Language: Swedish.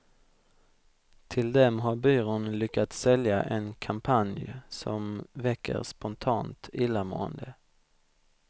Till dem har byrån lyckats sälja en kampanj som väcker spontant illamående.